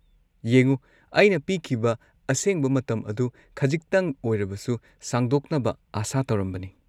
ꯌꯦꯡꯎ, ꯑꯩꯅ ꯄꯤꯈꯤꯕ ꯑꯁꯦꯡꯕ ꯃꯇꯝ ꯑꯗꯨ ꯈꯖꯤꯛꯇꯪ ꯑꯣꯏꯔꯕꯁꯨ ꯁꯥꯡꯗꯣꯛꯅꯕ ꯑꯥꯁꯥ ꯇꯧꯔꯝꯕꯅꯤ꯫